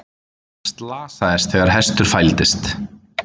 Slasaðist þegar hestur fældist